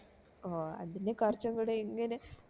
ഓഹ് അതില് കൊറച്ച് കൂടെ ഇങ്ങനെ